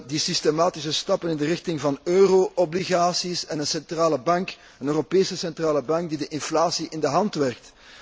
De systematische stappen in de richting van euro obligaties en een centrale bank, een Europese Centrale Bank die de inflatie in de hand werkt.